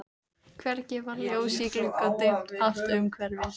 Hvergi var ljós í glugga og dimmt allt umhverfis.